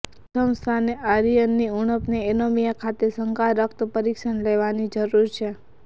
પ્રથમ સ્થાને આયર્નની ઉણપનો એનિમિયા ખાતે શંકા રક્ત પરીક્ષણ લેવાની જરૂર છે